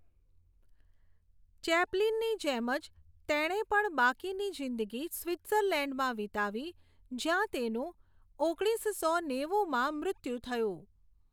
ચૅપ્લિનની જેમ જ તેણે પણ બાકીની જીંદગી સ્વિત્ઝલેન્ડમાં વિતાવી જ્યાં તેનું ઓગણીસો નેવુમાં મૃત્યું થયું.